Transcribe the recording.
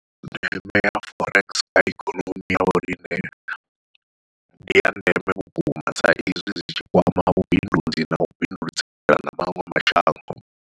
Ndeme ya forex kha ikonomi ya vhoriṋe ndi ya ndeme vhukuma, sa izwi zwitshi kwama vhubindudzi nau bindudzelana maṅwe mashango.